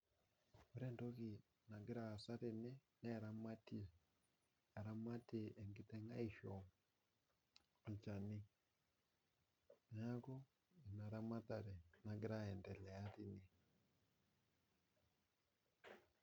Ore entoki nagira aasa tene naa eramati, eramati enkiteng aisho olchani, naaku ana ramatare nagira aendelea tene.